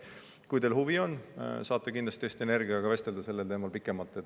Nii et kui teil huvi on, saate kindlasti Eesti Energiaga vestelda sellel teemal pikemalt.